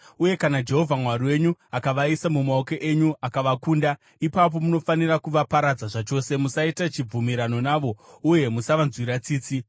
uye kana Jehovha Mwari wenyu akavaisa mumaoko enyu akavakunda, ipapo munofanira kuvaparadza zvachose. Musaita chibvumirano navo, uye musavanzwira tsitsi.